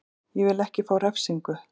Ég vil ekki fá refsingu.